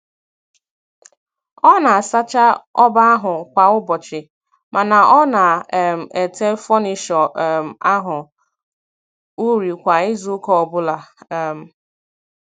Ọ na-asacha ọba ahụ kwa ụbọchị, mana ọ na um ete fọnisho um ahụ uri kwa izuụka ọbụla. um